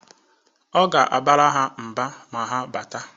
Ọ ga-abara ha mba ma ha bata.